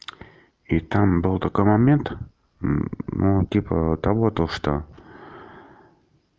и там был такой момент ну типа того то что